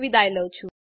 જોડાવા બદ્દલ આભાર